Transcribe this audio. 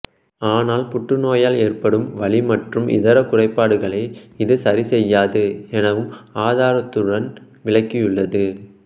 ஆனால் புற்றுநோயால் எற்படும் வலி மற்றும் இதர குறைபாடுகளை இது சரிசெய்யாது எனவும் ஆதாரத்துடன் விளக்கியுள்ளது